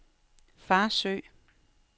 Farsø